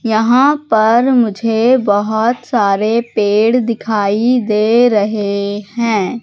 यहां पर मुझे बहुत सारे पेड़ दिखाई दे रहे हैं।